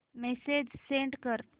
message send कर